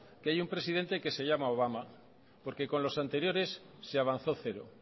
que hay un presidente que se llama obama porque con los anteriores se avanzó cero